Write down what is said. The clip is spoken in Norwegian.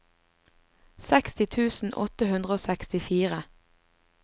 seksti tusen åtte hundre og sekstifire